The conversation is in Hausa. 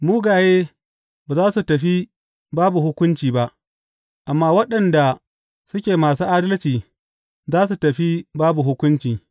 Mugaye ba za su tafi babu hukunci ba, amma waɗanda suke masu adalci za su tafi babu hukunci.